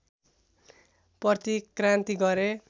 प्रतिक्रान्ति गरे